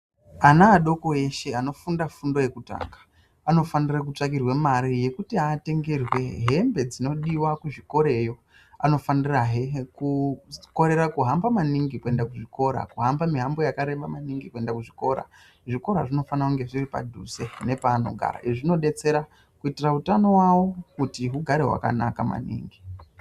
Ana adoko eshe anofunda fundo yekutanga anofanire kutsvakirwe mare yekuti atengerwe hembe dzinodiva kuzvikoreyo. Anofanirahe kukorere kuhamba maningi pakuende kuzvikora kuhamba mihambo yakareba maningi kuende kuzvikora. Zvikora zvinofana kunge zviri padhuze nepanogara. Izvi zvinobetsera kuitira utano vavo kuti hugare hwakanaka maningi.